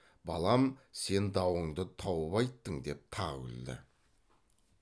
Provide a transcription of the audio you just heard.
балам сен дауыңды тауып айттың деп тағы күлді